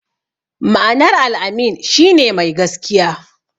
Ma'anar "Al-amin" shi ne "Mai gaskiya".